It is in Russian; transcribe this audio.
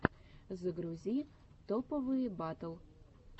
загрузи топовые батл